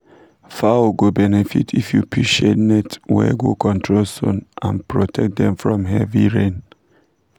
fowl go benefit if you put shade net wey go control sun and protect dem from heavy rain.